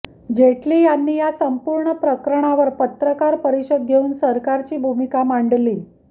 जेटली यांनी या संपूर्ण प्रकरणावर पत्रकार परिषद घेऊन सरकारची भूमिका मांडली